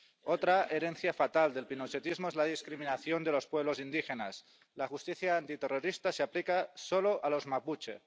Otra herencia fatal del pinochetismo es la discriminación de los pueblos indígenas la justicia antiterrorista se aplica solo a los mapuche.